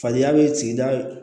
Fadenya bɛ sigida